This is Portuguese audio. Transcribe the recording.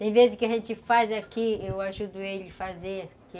Tem vezes que a gente faz aqui, eu ajudo ele a fazer.